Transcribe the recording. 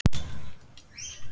Myrkrið breytir öllu.